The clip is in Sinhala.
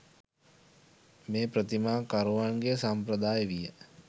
මේ ප්‍රතිමා කරුවන්ගේ සම්ප්‍රදාය විය.